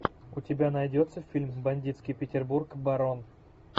у тебя найдется фильм бандитский петербург барон